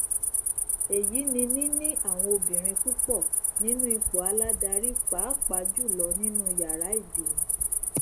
èyí ni níní àwọn obìnrin púpọ nínú ipò aládarí pàápàá jùlọ nínú yàrá ìgbìmọ